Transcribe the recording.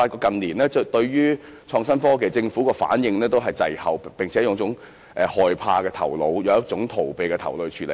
近年，我發現政府對創新科技的反應滯後，並且以一種害怕和逃避的態度來處理。